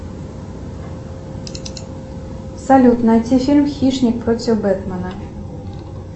салют найти фильм хищник против бэтмена